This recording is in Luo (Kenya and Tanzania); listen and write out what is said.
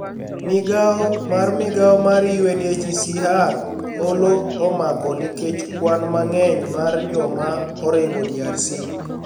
migao mar migao marUniHCR Holo omako niikech kwani manig'eniy mar joma orinigo DRC